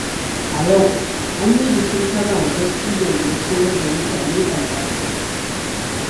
A yau, an yi bikin karrama dattijon da ya koyar da mutane al’adar su.